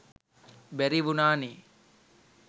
බැරි වුනා නේ.